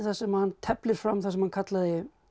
sem hann teflir fram það sem hann kallaði